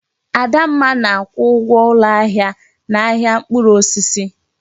Adamma na-akwụ ụgwọ ụlọ ahịa n'ahịa mkpụrụ osisi.